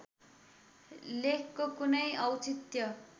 लेखको कुनै औचित्य